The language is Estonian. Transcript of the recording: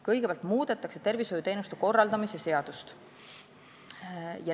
Kõigepealt muudetakse tervishoiuteenuste korraldamise seadust.